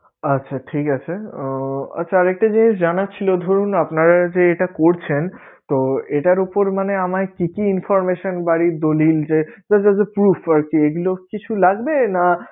আচ্ছা ঠিক আছে আহ আচ্ছা আর একটা জিনিস জানার ছিলো, ধরুন আপনারা যে এটা করছেন তো এটার উপর মানে আমায় কি কি information বাড়ির দলিল যে তো যা যা prove করে আরকি এগুলো কিছু লাগবে? না